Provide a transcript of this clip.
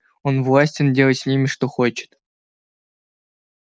он властен делать с ними что хочет